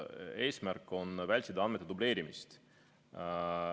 Eesmärk on vältida andmete dubleerimist.